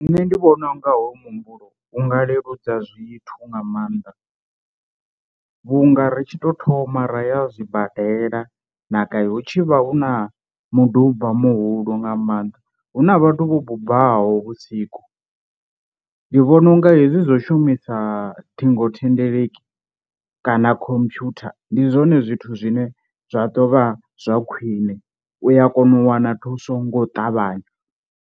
Nṋe ndi vhona unga hoyu muhumbulo u nga leludza zwithu nga maanḓa, vhu nga ri tshi tou thoma ra ya zwibadela na gai hu tshi vha hu na muduba muhulu nga maanḓa hu na vhathu vho bubaho vhusiku. Ndi vhona unga hezwi zwo shumisa ṱhingothendeleki kana computer ndi zwone zwithu zwine zwa ḓovha zwa khwine u ya kona u wana thuso ngo ṱavhanya.